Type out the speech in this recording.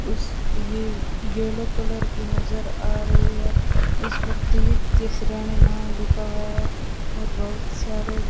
ये yellow colour की नजर आ रही है उस पर द्वित्य श्रेणी नाम लिखा हुआ है और बहुतसारे --